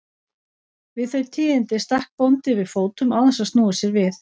Við þau tíðindi stakk bóndi við fótum án þess að snúa sér við.